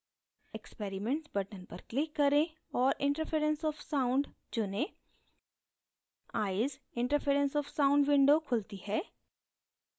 experiments button पर click करें और interference of sound चुनें eyes: interference of sound window खुलती है